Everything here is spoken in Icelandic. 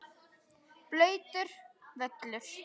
Blautur völlur.